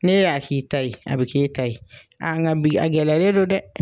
N'e y'a k'i ta ye a bi k'e ta ye a nka bi a gɛlɛyalen don dɛ!